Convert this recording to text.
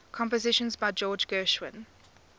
compositions by george gershwin